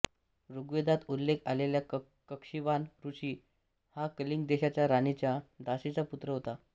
ऋग्वेदात उल्लेख आलेल्या कक्षीवान ऋषी हा कलिंग देशाच्या राणीच्या दासीचा पुत्र होता